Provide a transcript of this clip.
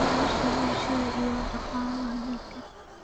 nolosha bulshada iyo dhaqaalaha dalka.